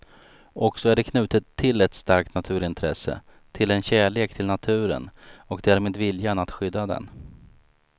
Och så är det knutet till ett starkt naturintresse, till en kärlek till naturen och därmed viljan att skydda den.